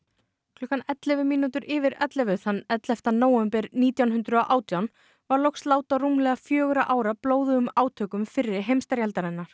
klukkan ellefu mínútur yfir ellefu þann ellefta nóvember nítján hundruð og átján varð loks lát á rúmlega fjögurra ára blóðugum átökum fyrri heimsstyrjaldarinnar